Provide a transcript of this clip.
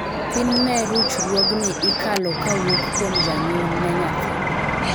thin ne ruchruogni ikalo kawuok kuom janyuol ne nathi